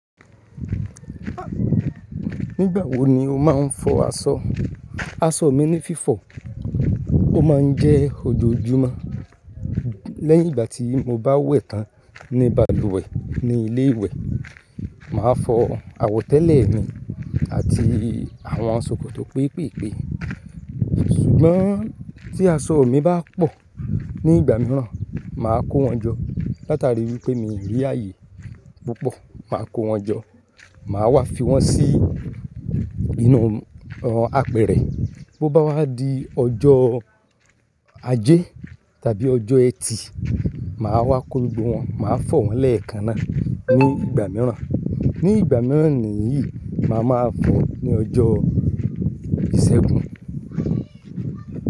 Nígbà wo ni o máa ń fọ aṣọ? Aṣọ mi ní fífọ̀, ó máa ń jẹ́ ojoojúmọ́. Lẹ́yìn ìgbà tí mo bá wẹ̀ tán ní balùwẹ̀ ní ilé ìwẹ̀, màá fọ àwọ̀tẹ́lẹ̀ mi àti àwọn ṣòkòtò péepéepée. Ṣùgbọ́n tí aṣọ mi bá pọ̀ ní ìgbà mìíràn, màá kó wọn jọ látari wípé mi rí ààyè púpọ̀, màá kó wọn jọ. Màá wá fi wọn sí inú àpẹrẹ. Bo bá wá di ọjọ́ ajé tàbí ọjọ́ ẹtì, màá wá kó gbogbo wọn, màá fọ wọn lẹ́ẹ̀kan náà ní ìgbà mìíràn. Ní ìgbà mìíràn nìyí, màá máa fọ ní ọjọ́ ìṣẹ́gun.